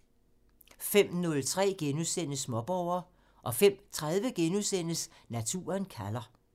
05:03: Småborger *(tir) 05:30: Naturen kalder *(tir)